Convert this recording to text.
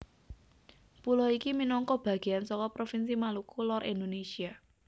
Pulo iki minangka bagéan saka provinsi Maluku Lor Indonésia